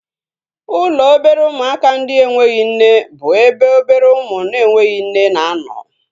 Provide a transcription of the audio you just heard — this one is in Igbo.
Ụlọ obere ụmụaka ndị enweghị nne bụ ebe obere ụmụ na-enweghị nne na-anọ